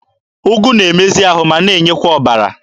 Ụgụ na-emezi ahụ ma n'enyekwa ọbara.